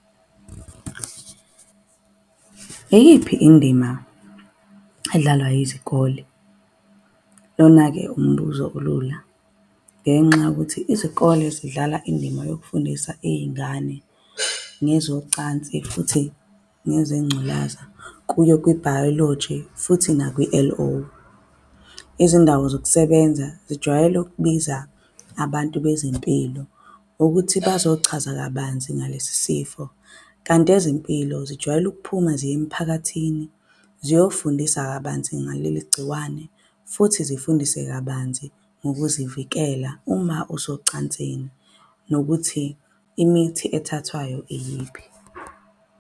Iyiphi indima edlalwa yizikole? Lona-ke umbuzo olula ngenxa yokuthi izikole zidlala indima yokufundisa iy'ngane ngezocansi. Futhi nezengculaza kuyo kwibhayoloji futhi nakwi-L_O. Izindawo zokusebenza zijwayele ukubiza abantu bezempilo ukuthi bazochaza kabanzi ngalesi sifo. Kanti ezempilo zijwayele ukuphuma ziye emiphakathini ziyofundisa kabanzi ngaleli gciwane futhi zifundise kabanzi ngokuzivikela uma usocansini, nokuthi imithi elithathwayo iyiphi.